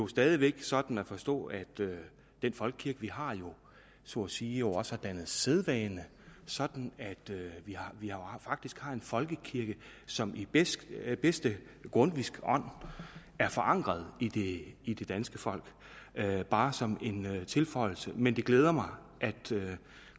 stadig væk sådan at forstå at den folkekirke vi har jo så at sige også har dannet sædvane sådan at vi faktisk har en folkekirke som i bedste bedste grundtvigske ånd er forankret i det i det danske folk bare som en tilføjelse men det glæder mig at